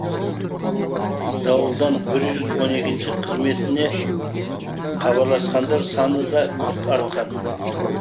дауылдан бір жүз он екінші қызметіне хабарласқандар саны да күрт артқан